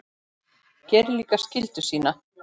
Gerir líka skyldu sína.